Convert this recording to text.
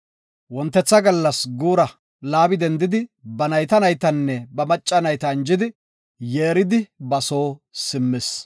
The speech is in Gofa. Wontetha gallas guura Laabi dendidi ba nayta naytanne ba macca nayta anjidi, yeeridi ba soo simmis.